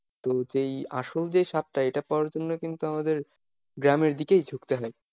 তো যেই আসল যেই স্বাদটা এইটা পাওয়ার জন্য কিন্তু আমাদের গ্রামের দিকেই ঝুঁকতে হয়।